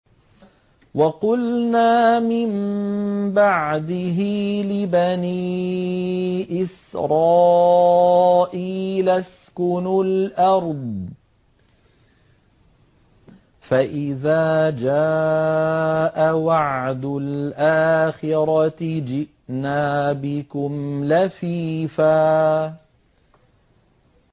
وَقُلْنَا مِن بَعْدِهِ لِبَنِي إِسْرَائِيلَ اسْكُنُوا الْأَرْضَ فَإِذَا جَاءَ وَعْدُ الْآخِرَةِ جِئْنَا بِكُمْ لَفِيفًا